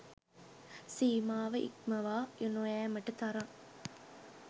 සීමාව ඉක්මවා නොයෑමට තරම්